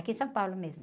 Aqui em São Paulo mesmo.